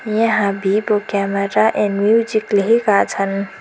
यहाँ video camera and music लेखेका छन्।